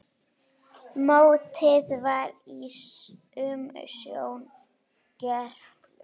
Mótið var í umsjón Gerplu.